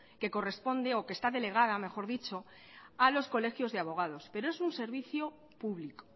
que corresponde o que está delegada mejor dicho a los colegios de abogados pero es un servicio público